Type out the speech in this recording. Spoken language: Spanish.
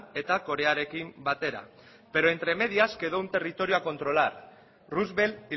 eta korearekin batera pero entre medias quedó un territorio a controlar roosevelt